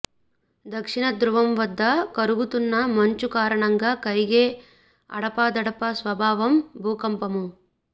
దక్షిణ ధృవం వద్ద కరుగుతున్న మంచు కారణంగా కరిగే అడపాదడపా స్వభావం భూకంపము